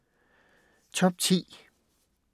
Top 10